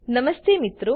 નમસ્તે મિત્રો